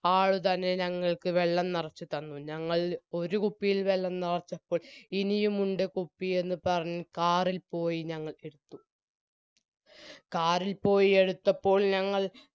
ആൾ തന്നെ ഞങ്ങൾക്ക് വെള്ളം നെറച്ചു തന്നു ഞങ്ങൾ ഒരുകുപ്പിയിൽ വെള്ളം നെറച്ചപ്പോൾ ഇനിയുമുണ്ട് കുപ്പി എന്ന് പറഞ്ഞ് car ഇൽ പോയി എത്തു car ഇൽ പോയി എടുത്തപ്പോൾ ഞങ്ങൾ